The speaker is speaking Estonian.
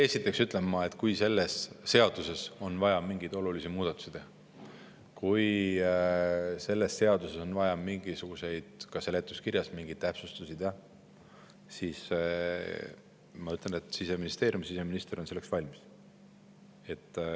Esiteks ütlen, et kui selles seaduses on vaja mingeid olulisi muudatusi teha, kui ka seletuskirjas mingeid täpsustusi teha, siis Siseministeerium ja siseminister on selleks valmis.